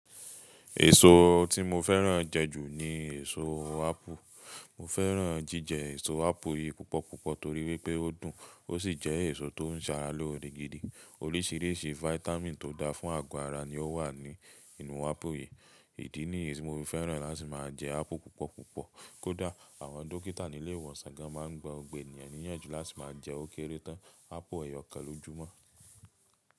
Èso tí mo fẹ́ràn jẹ jù ní èso ápù. Mo fẹ́ràn jíjẹ èso ápù yìí púpọ̀púpọ̀ torí wípé ó dùn ó sì jẹ́ èso tó ń ṣara lóòrè gidi. Orísìírísìí fáítámì tó dáa fún àgọ́ ara ni ó wà ní inú ápù yìí. Ìdí nìyí ni mo fi fẹ́ràn láti máa jẹ ápù púpọ̀púpọ̀. Kódà àwọn dókítà nílé ìwòsàn gan máa ń gba gbogbo ènìyàn níyànjú láti má jẹ ókéré tán ápù ẹyọkan lójúmọ́.